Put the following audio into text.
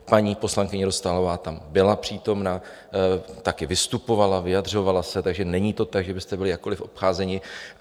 Paní poslankyně Dostálová tam byla přítomna, taky vystupovala, vyjadřovala se, takže není to tak, že byste byli jakkoliv obcházeni.